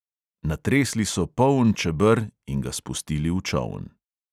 Natresli so poln čeber in ga spustili v čoln.